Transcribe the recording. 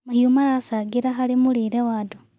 Mahĩũ maracangĩra harĩ mũrĩre wa andũ